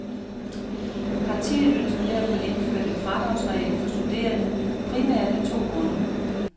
Partiet ønsker derfor indført en fradragsregel for studerende, primært af to grunde.